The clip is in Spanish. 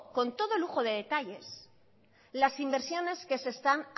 con todo lujo de detalles las inversiones que se están